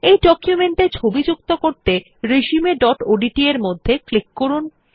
এই ডকুমেন্ট এ ছবি যুক্ত করতে resumeওডিটি এর মধ্যে ক্লিক করুন